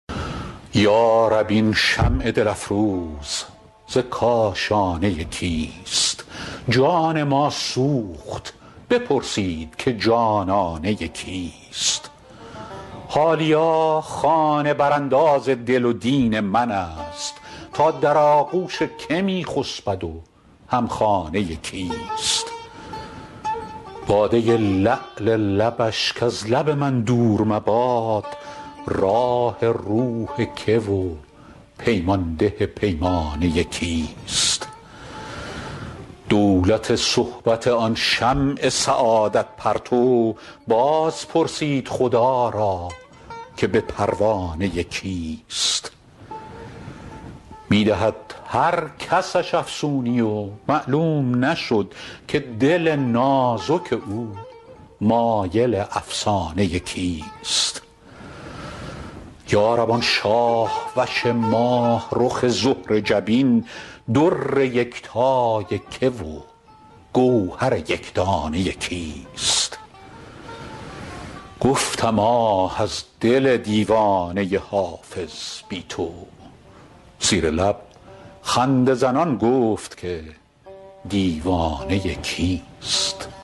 یا رب این شمع دل افروز ز کاشانه کیست جان ما سوخت بپرسید که جانانه کیست حالیا خانه برانداز دل و دین من است تا در آغوش که می خسبد و هم خانه کیست باده لعل لبش کز لب من دور مباد راح روح که و پیمان ده پیمانه کیست دولت صحبت آن شمع سعادت پرتو باز پرسید خدا را که به پروانه کیست می دهد هر کسش افسونی و معلوم نشد که دل نازک او مایل افسانه کیست یا رب آن شاه وش ماه رخ زهره جبین در یکتای که و گوهر یک دانه کیست گفتم آه از دل دیوانه حافظ بی تو زیر لب خنده زنان گفت که دیوانه کیست